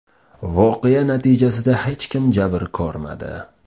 Voqea natijasida hech kim jabr ko‘rmadi.